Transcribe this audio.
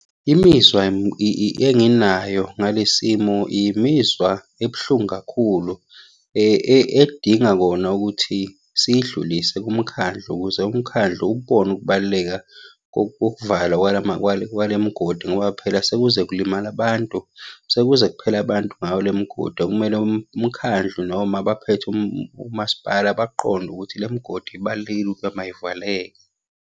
Imizwa enginayo ngale simo, imizwa ebuhlungu kakhulu edinga kona ukuthi siyidlulise kumkhandlu ukuze umkhandlu ubone ukubaluleka kokuvalwa kwale migodi ngoba phela sekuze kulimala abantu, sekuze kuphela abantu ngayo le migodi okumele umkhandlu noma abaphethe umasipala bakuqonde ukuthi le migodi ibalulekile ukuba mayivaleke.